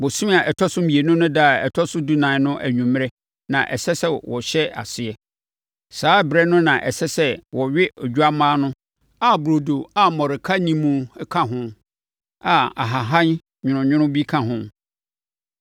bosome a ɛtɔ so mmienu no ɛda a ɛtɔ so dunan no anwummerɛ na ɛsɛ sɛ wɔhyɛ aseɛ. Saa ɛberɛ no na ɛsɛ sɛ wɔwe odwammaa no a burodo a mmɔreka nni mu ka ho a ahahan nwononwono bi ka ho.